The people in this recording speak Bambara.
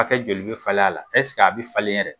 Hakɛ joli bɛ falen a la? Ɛseke a bɛ falen yɛrɛ?